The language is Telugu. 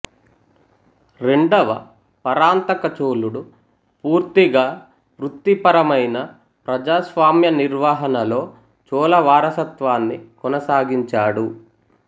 రెండవ పరాంతకచోళుడు పూర్తిగా వృత్తిపరమైన ప్రజాస్వామ్య నిర్వహణలో చోళవారసత్వాన్ని కొనసాగించాడు